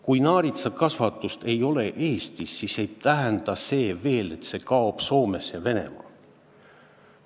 Kui naaritsakasvatust ei ole Eestis, siis ei tähenda see veel, et see kaob Soomes ja Venemaal.